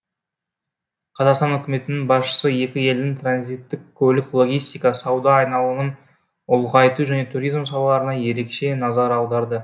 қазақстан үкіметінің басшысы екі елдің транзиттік көлік логистика сауда айналымын ұлғайту және туризм салаларына ерекше назар аударды